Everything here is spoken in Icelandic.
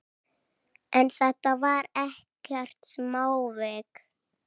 En þetta var ekkert smávik.